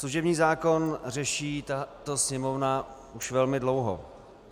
Služební zákon řeší tato Sněmovna už velmi dlouho.